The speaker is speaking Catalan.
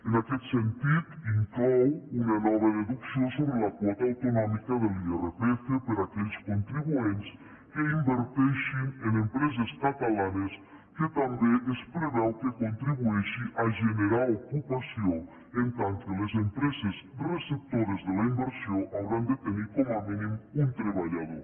en aquest sentit inclou una nova deducció sobre la quota autonòmica de l’irpf per a aquells contribuents que inverteixin en empreses catalanes que també es preveu que contribueixi a generar ocupació en tant que les empreses receptores de la inversió hauran de tenir com a mínim un treballador